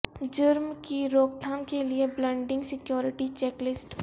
جرم کی روک تھام کے لئے بلڈنگ سیکورٹی چیک لسٹ